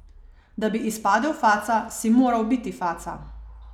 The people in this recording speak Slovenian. Da bi izpadel faca, si moral biti faca.